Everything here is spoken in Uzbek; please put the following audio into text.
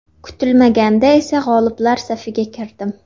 Kutilmaganda esa g‘oliblar safiga kirdim.